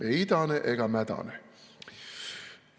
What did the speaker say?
Ei idane ega mädane.